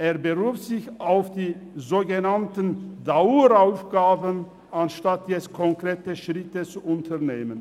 Er beruft sich auf die sogenannten Daueraufgaben, anstatt jetzt konkrete Schritte zu unternehmen.